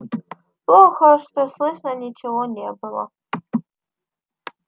плохо что слышно ничего не было